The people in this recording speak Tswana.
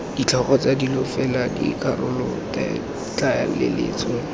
ditlhogo tsa dilo fela dikarolotlaleletso